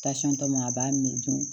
tɔ ma a b'a min to